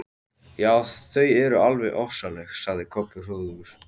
Já, þau eru alveg ofsaleg, sagði Kobbi hróðugur.